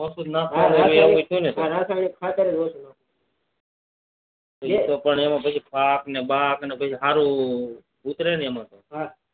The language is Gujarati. ઓછુ નાખવાનું હોય ને બધું હા રાસાયણિક ખાતર ઓછુ નાખવાનું એતો એમાં પણ પાક ને બાક કસું સારું ઉતરે નહી એમાં